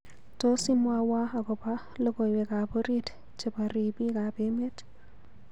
Tos imwawo agoba logoywekab orit chebo riibikab emet